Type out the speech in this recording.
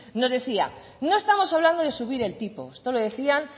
nos decía no estamos hablando de subir el tipo esto lo decían